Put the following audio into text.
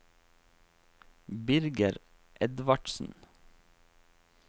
Birger Edvardsen